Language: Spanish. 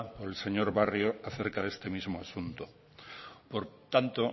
por el señor barrio acerca de este mismo asunto por tanto